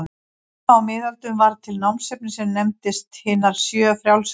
Snemma á miðöldum varð til námsefni sem nefndist hinar sjö frjálsu listir.